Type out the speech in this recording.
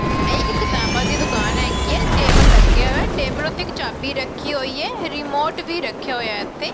ਇਹ ਇੱਕ ਕਿਤਾਬਾਂ ਦੀ ਦੁਕਾਨ ਹੈਗੀ ਹੈ ਟੇਬਲ ਲੱਗਿਆ ਹੋਇਆ ਟੇਬਲ ਉਤੇ ਇੱਕ ਚਾਬੀ ਰੱਖੀ ਹੋਈ ਹੈ ਰਿਮੋਟ ਵੀ ਰੱਖਿਆ ਹੋਇਆ ਇਥੇ।